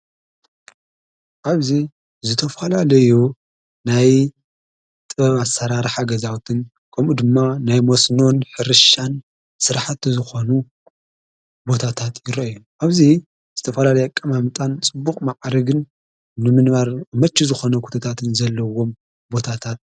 ኣብዙይ ዝተፍላለዮ ናይ ጥባሠራራሕ ኣገዛውትን ቆሙኡ ድማ ናይ ሞስኖን ኅርሻን ሠርኃተ ዝኾኑ ቦታታት ይረ እዮን ኣብዙይ ዝተፈላ ለይቀ ማምጣን ጽቡቕ መዓርግን ንምንባር መች ዝኾነ ኽትታትን ዘለዎም ቦታታት እዩ።